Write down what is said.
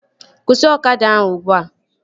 Kwụsị ọkada ahụ ugbua!